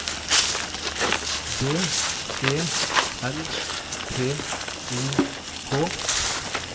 D E L T O K